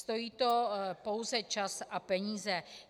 Stojí to pouze čas a peníze.